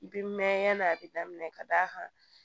I bi mɛn yanni a bi daminɛ ka d'a kan